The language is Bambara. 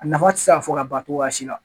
A nafa ti se ka fɔ ka ban cogoya si la